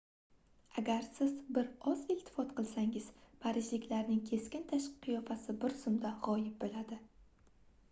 agar siz bir oz iltifot qilsangiz parijliklarning keskin tashqi qiyofasi biz zumda gʻoyib boʻladi